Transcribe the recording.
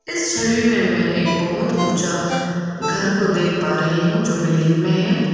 इस छवि में एक बहुत ऊंचा घर को देख पा रही हूं जो बिल्डिंग में है।